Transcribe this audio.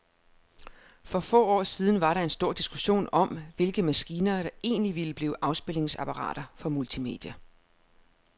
For få år siden var der stor diskussion om, hvilke maskiner, der egentlig ville blive afspilningsapparater for multimedia.